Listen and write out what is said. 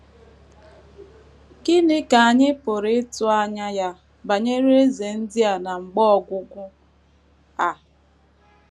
Gịnị ka anyị pụrụ ịtụ anya ya banyere eze ndị a na mgbe ọgwụgwụ a?